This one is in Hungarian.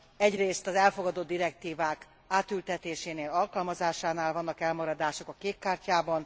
Egyrészt az elfogadott direktívák átültetésénél, alkalmazásánál vannak elmaradások a kék kártyában.